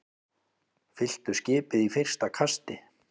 Fylltu skipið í fyrsta kasti